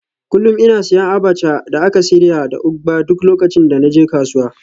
Kullum ina siyan abacha da aka shirya da ugba duk lokacin da na je kasuwa